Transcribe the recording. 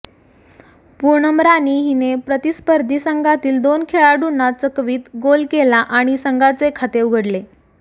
पूनम राणी हिने प्रतिस्पर्धी संघातील दोन खेळाडूंना चकवित गोल केला आणि संघाचे खाते उघडले